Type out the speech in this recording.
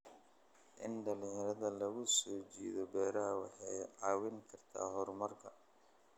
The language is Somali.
In dhalinyarada lagu soo jiito beeraha waxay caawin kartaa horumarka.